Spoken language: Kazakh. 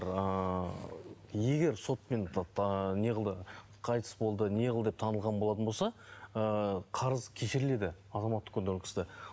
ыыы егер сотпен неғылды қайтыс болды неғыл деп танылған болатын болса ыыы қарыз кешіріледі азаматтық кодексте